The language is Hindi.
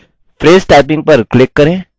phrase typing पर क्लिक करें